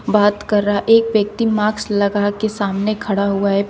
बात कर रहा एक व्यक्ति मार्क्स लगा के सामने खड़ा हुआ है।